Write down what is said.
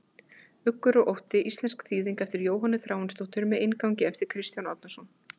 Uggur og ótti, íslensk þýðing eftir Jóhönnu Þráinsdóttur með inngangi eftir Kristján Árnason.